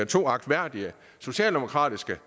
to agtværdige socialdemokratiske